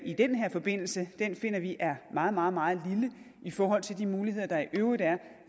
i den her forbindelse finder vi er meget meget meget lille i forhold til de muligheder der i øvrigt er